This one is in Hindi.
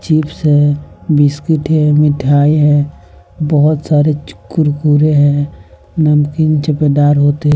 चिप्स है बिस्किट है मिठाई है बहोत सारे चु कुरकुरे हैं नमकीन होते --